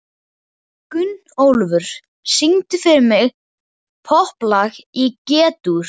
Gunnólfur, syngdu fyrir mig „Popplag í G-dúr“.